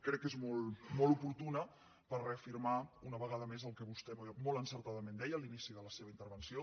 crec que és molt oportuna per reafirmar una vegada més el que vostè molt encertadament deia a l’inici de la seva intervenció